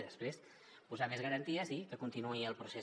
i després posar més garanties i que continuï el procés